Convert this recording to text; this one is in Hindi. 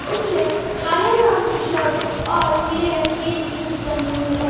उसने काले रंग की शर्ट और नीले रंग की जींस पहनी हुई है।